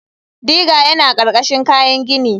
Digger yana ƙarƙashin kayan gini.